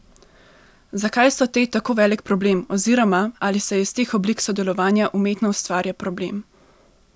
Zakaj so te tako velik problem oziroma ali se iz teh oblik sodelovanja umetno ustvarja problem?